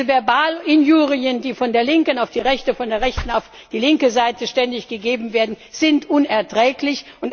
Denn diese Verbalinjurien, die von der linken auf die rechte, von der rechten auf die linke Seite ständig gegeben werden, sind unerträglich.